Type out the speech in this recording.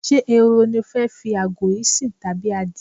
Ṣé ehoro ni o fẹ́ fi àgò yìí sìn tàbí adìe?